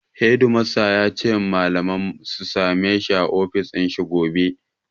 Hedimastan ya ce ma malamai su sameshi a ofishin shi gobe.